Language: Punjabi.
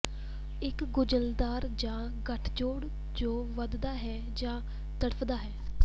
ਇੱਕ ਗੁੰਝਲਦਾਰ ਜਾਂ ਗੱਠਜੋੜ ਜੋ ਵਧਦਾ ਹੈ ਜਾਂ ਤੜਫਦਾ ਹੈ